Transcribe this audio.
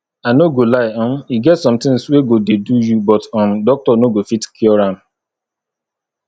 i no go lie um e get some things wey go dey do you but um doctor no go fit cure am